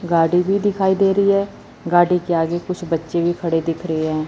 गाड़ी भी दिखाई दे रही है गाड़ी के आगे कुछ बच्चे भी खड़े दिख रहे हैं।